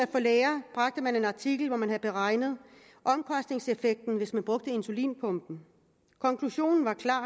for læger bragte man en artikel hvor man havde beregnet omkostningseffekten hvis man brugte insulinpumpe konklusionen var klar